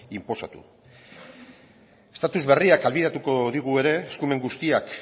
inposatu estatuz berriak ahalbidetuko digu ere eskumen guztiak